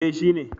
eh shi ne